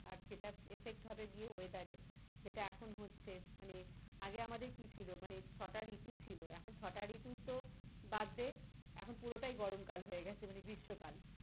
আর সেটা effect হবে গিয়ে weather এ যেটা এখন হচ্ছে মানে আগে আমাদের কি ছিল ছটা ঋতু ছিল, এখন ছটা ঋতু তো বাদ দে এখন পুরোটাই গরম কাল হয়ে গেছে মানে গ্রীষ্মকাল।